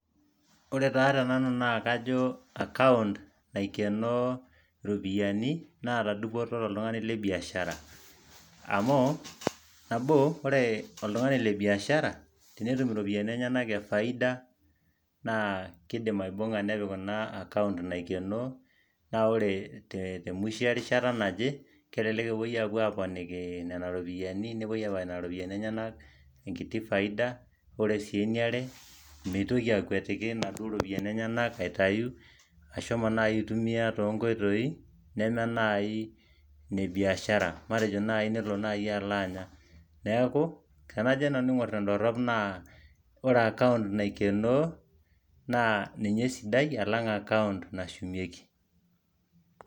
Ore taa te nanu naa kaajo account naikeenoo iropiyani naata dupoto to oltungani le (biashara amuu, nabo ore oltugani le biashara tenetum iropiyani enyenak ee faida naa kidim aibung'a nepik kuna acount naikenoo naa ore te mwisho erishata naje kelelek epoi aponiki nena ropiyiani nepoi aponiki nena ropiyiani enyenak ekiti faida, ore sii eniare meitoki aikwetiki naduoo ropiyiani aitayu ashomo naai aitumiaa to nkoitoii neme naai ne biashara, matejo naai nelo naai alo anya, neeku tenajo nanu aing'orr te dorop naah, kore account naikenoo naa ninye esidai alang accont nashumieki